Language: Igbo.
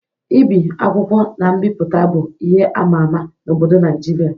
Ibi akwụkwọ na mbipụta bụ ihe ama ama n'obodo Naịjirịa.